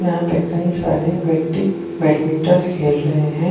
यहां पे कई सारे व्यक्ति बैडमिंटन खेल रहे हैं।